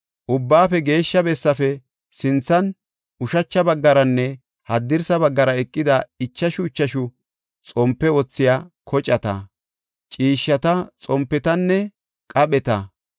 Ubbaafe Geeshsha Bessaafe sinthan ushacha baggaranne haddirsa baggara eqida ichashu ichashu xompe wothiya kocata, ciishshata, xompetanne qapheta,